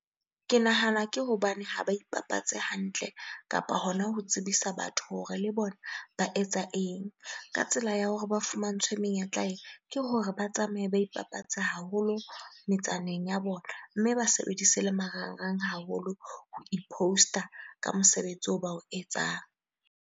Ke nahana ke hobane ha ba ipapatsa hantle kapa hona ho tsebisa batho hore le bona ba etsa eng? Ka tsela ya hore ba fumantshwe menyetla ee, ke hore ba tsamaye, ba ipapatse haholo metsaneng ya bona. Mme ba sebedise le marangrang haholo ho i-post-a ka mosebetsi oo ba o etsang.